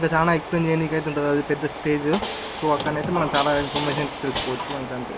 ఇంకా చాలా ఎక్స్ప్లైన్ చేయడానికి అయితే ఉంది పెద్ద స్టేజ్ సో అక్కడ అయితే మనము చాలా ఇన్ఫర్మేషన్ తెలుసుకోవచ్చు.